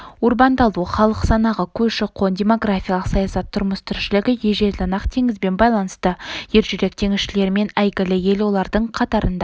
урбандалу халық санағы көші-қон демографиялық саясат тұрмыс-тіршілігі ежелден-ақ теңізбен байланысты ержүрек теңізшілермен әйгілі ел олардың қатарында